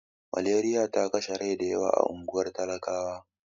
Maleriya ta kashe rai da yawa a unguwar talakawa.